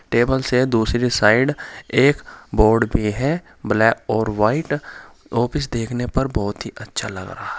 Table से दूसरी side एक बोर्ड भी है ब्लैक और व्हाइट ऑफिस देखने पर बहुत ही अच्छा लग रहा है।